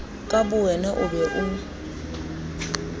ka bowena o be o